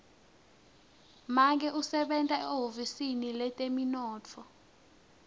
make usebenta ehhovisi letemnotfo